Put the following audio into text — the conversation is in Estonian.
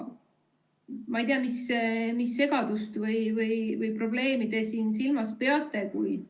Ma ei tea, mis segadust või probleemi te siin silmas peate.